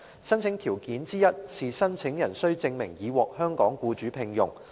申請條件之一是申請人須證明已獲香港僱主聘用。